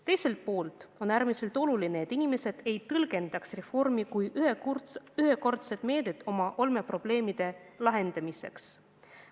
Teiselt poolt on äärmiselt tähtis, et inimesed ei tõlgendaks reformi kui ühekordset meedet oma olmeprobleemide lahendamiseks.